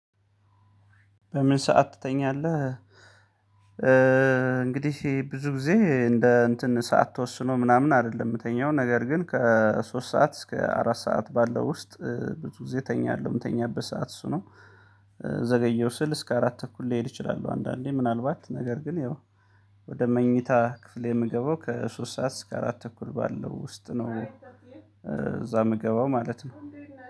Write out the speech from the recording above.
በምን ሰዓት ትተኛለህ? እንግድህ ብዙ ጊዜ እንደ እንትን ሰዓት ተወስኖ ምናምን አይደለም የሚተኛው ነገር ግን ከሶስት ሰዓት እስከ አራት ሰዓት ባለው ውስጥ ብዙ ግዜ ተኛለሁ ምተኛበት ሰዓት እሱ ነው። ዘገየው ስል እስከ አራት ተኩል ሊሄድ ይችላሉ አንዳንዴ ምናልባት ነገር ግን ያው ወደ መኝታ ክፍሌ የምገባው ከሶስት ሰዓት እስከ አራት ተኩል ባለው ውስጥ ነው እዛ የምገባው ማለት ነው።